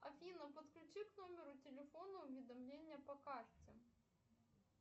афина подключи к номеру телефона уведомление по карте